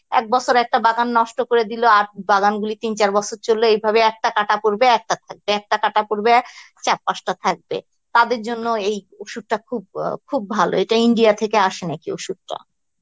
এক বছরে একটা বাগান নষ্ট করে দিল আর বাগান গুলি তিন চার বছর চলল এইভাবে একটা কাটা পড়বে একটা থাকবে একটা কাটা পড়বে চার পাঁচটা থাকবে তাদের জন্য এই ওষুধটা খুব খুব ভালোএটা India থেকে আসে নাকি ওষুধটা